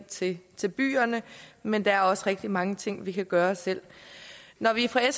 til til byerne men der er også rigtig mange ting vi kan gøre selv når vi fra